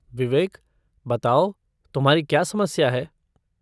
विवेक, बताओ, तुम्हारी क्या समस्या है?